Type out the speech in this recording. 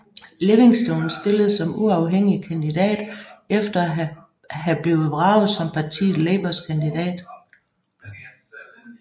Livingstone stillede som uafhængig kandidat efter at have blevet vraget som partiet Labours kandidat